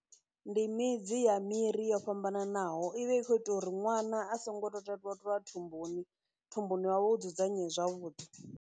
Ndi midzi ya miri yo fhambananaho, i vha i khou ita uri ṅwana a songo totwa totwa thumbuni, thumbuni hawe hu dzudzanyee zwavhuḓi.